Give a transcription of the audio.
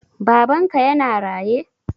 Babanka yana raye?